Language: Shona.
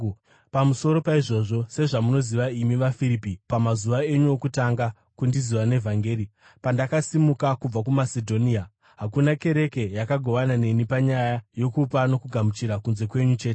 Pamusoro paizvozvo, sezvamunoziva imi vaFiripi, pamazuva enyu okutanga kundiziva nevhangeri, pandakasimuka kubva kuMasedhonia, hakuna kereke yakagovana neni panyaya yokupa nokugamuchira, kunze kwenyu chete;